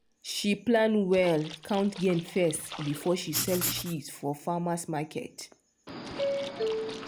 she plan well count gain first before she sell cheese for farmers market.